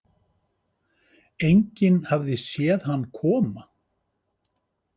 Enginn hafði séð hann koma.